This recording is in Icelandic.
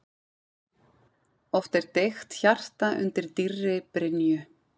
Oft er deigt hjarta undir dýrri brynju.